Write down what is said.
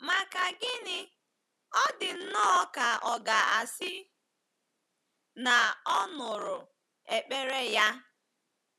Maka gịnị, ọ dị nnọọ ka a ga-asị na ọ nụrụ ekpere ya!